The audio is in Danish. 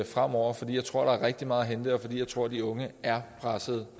fremover fordi jeg tror der er rigtig meget hente og fordi jeg tror de unge er pressede